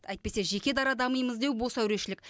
әйтпесе жеке дара дамимыз деу бос әурешілік